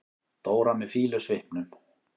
Dóra með fýlusvipnum.